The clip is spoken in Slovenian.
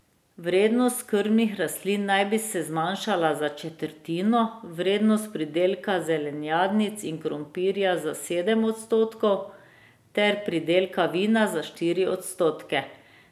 Vrednost krmnih rastlin naj bi se zmanjšala za četrtino, vrednost pridelka zelenjadnic in krompirja za sedem odstotkov ter pridelka vina za štiri odstotke.